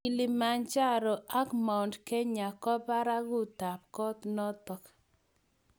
kilimanjaro ak mt kenya parakutap kot notok